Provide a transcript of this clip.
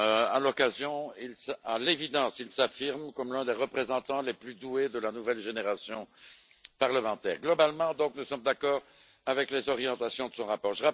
À l'évidence, il s'affirme comme l'un des représentants les plus doués de la nouvelle génération parlementaire. Globalement, nous sommes d'accord avec les orientations de son rapport.